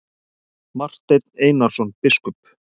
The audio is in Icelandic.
Marteinn Einarsson biskup!